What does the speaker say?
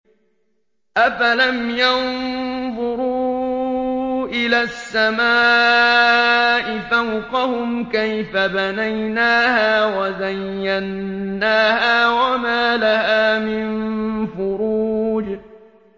أَفَلَمْ يَنظُرُوا إِلَى السَّمَاءِ فَوْقَهُمْ كَيْفَ بَنَيْنَاهَا وَزَيَّنَّاهَا وَمَا لَهَا مِن فُرُوجٍ